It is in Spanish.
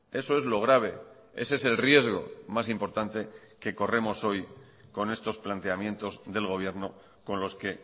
eso es lo grave ese es el riesgo más importante que corremos hoy con estos planteamientos del gobierno con losque